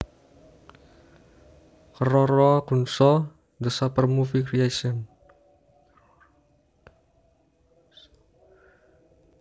Keroro Gunso the Super Movie Creation